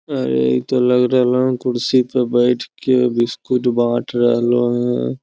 अरे इ ते लग रहले हेय कुर्सी पर बैठ के बिस्कुट बांट रहले हेय।